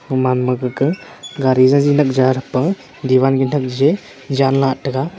oman ma gaga gari zazi lakjia thakpa diwal ge thakjie jan lah taiga.